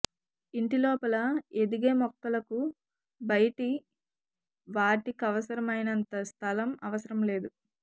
ఇంటి లోపల ఎదిగే మొక్కలకు బయటి వాటికవసరమైనంత స్ధలం అవసరం లేదు